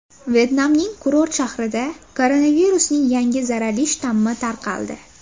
Vyetnamning kurort shahrida koronavirusning yangi zararli shtammi tarqaldi.